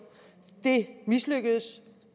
det mislykkedes